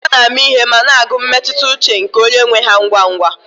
Nkịta na-ama ihe ma na-agụ mmetụta ụche nke onye nwe ha ngwa ngwa